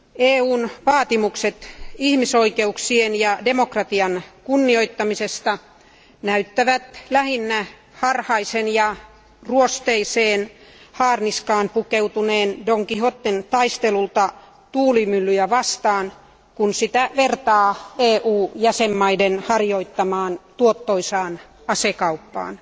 EUn vaatimukset ihmisoikeuksien ja demokratian kunnioittamisesta näyttävät lähinnä harhaisen ja ruosteiseen haarniskaan pukeutuneen Don Quijoten taistelulta tuulimyllyjä vastaan, kun sitä vertaa EUn jäsenvaltioiden harjoittamaan tuottoisaan asekauppaan.